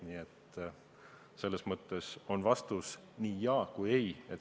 Nii et selles mõttes on vastus nii "jaa" kui "ei".